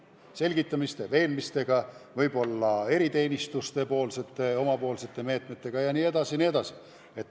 Selgitamise, veenmisega, võib-olla ka eriteenistuste rakendatavate meetmetega jne.